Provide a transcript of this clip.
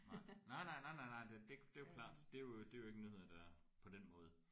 Nej nej nej nej nej nej det det er jo klart det er jo det er jo ikke nyheder der på den måde